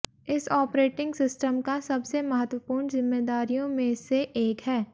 इस operating system का सबसे महत्वपूर्ण जिम्मेदारियों में से एक है